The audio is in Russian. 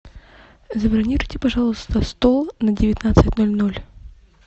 забронируйте пожалуйста стол на девятнадцать ноль ноль